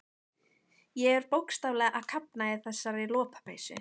Ég er bókstaflega að kafna í þessari lopapeysu.